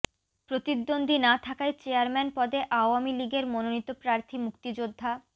প্রতিদ্বন্দ্বী না থাকায় চেয়ারম্যান পদে আওয়ামী লীগের মনোনীত প্রার্থী মুক্তিযোদ্ধা